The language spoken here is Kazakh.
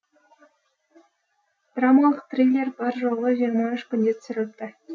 драмалық триллер бар жоғы жиырма үш күнде түсіріліпті